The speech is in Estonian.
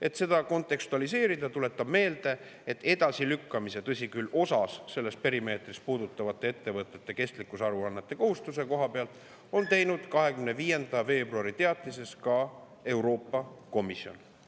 Et seda kontekstualiseerida, tuletan meelde, et edasilükkamise, tõsi küll, osa selles perimeetris ettevõtete kestlikkusaruannete kohustuse koha pealt, on teinud 25. veebruari teatises ka Euroopa Komisjon.